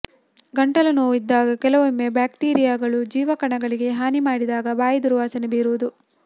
ಗಂಟಲು ನೋವು ಇದ್ದಾಗ ಕೆಲವೊಮ್ಮೆ ಬ್ಯಾಕ್ಟೀರಿಯಾಗಳು ಜೀವ ಕಣಗಳಿಗೆ ಹಾನಿ ಮಾಡಿದಾಗ ಬಾಯಿ ದುರ್ವಾಸನೆ ಬೀರುವುದು